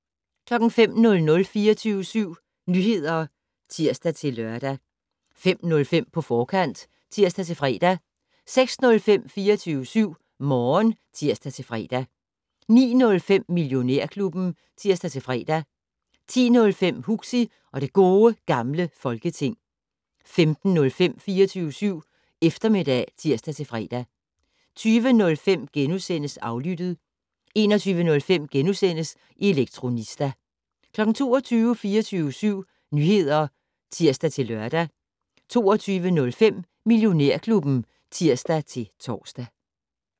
05:00: 24syv Nyheder (tir-lør) 05:05: På forkant (tir-fre) 06:05: 24syv Morgen (tir-fre) 09:05: Millionærklubben (tir-fre) 10:05: Huxi og det Gode Gamle Folketing 15:05: 24syv Eftermiddag (tir-fre) 20:05: Aflyttet * 21:05: Elektronista * 22:00: 24syv Nyheder (tir-lør) 22:05: Millionærklubben (tir-tor)